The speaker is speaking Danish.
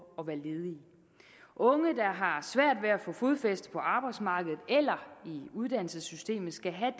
at være ledige unge der har svært ved at få fodfæste på arbejdsmarkedet eller i uddannelsessystemet skal have